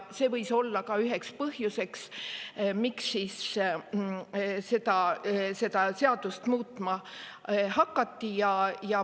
See võis olla ka üheks põhjuseks, miks seda seadust muutma hakati.